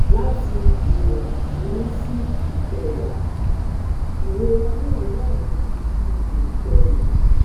Lati iwon kini si ikewa, irora na wa ni ipo kerin